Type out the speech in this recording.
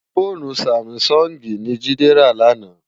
Fónú sámisòngi ni Jide rá làná